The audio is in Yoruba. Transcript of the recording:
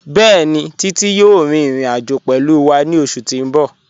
Bẹẹ̀ni, Títí yòò rín ìrìn-àjọ̀ pẹ̀lú wà ní ọṣù tí n bọ̀.